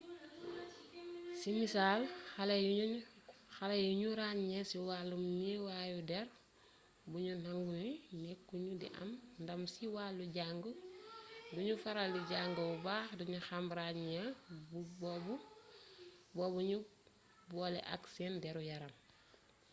ci misaal xale yuñu ràññee ci wàllum neewaayu dér buñu nangu ni nekku ñu di am ndàm ci walu jang duñu faral di jang bu bax buñu xame ràññee bobu ñu bole ak sen déru yaram